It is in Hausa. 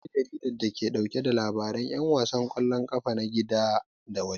Akwai jaridar da ke ɗauke da labaran 'yan wasan ƙwallon kafa na gida da waje.